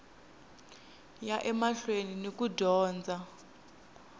ya emahlweni ni ku dyondza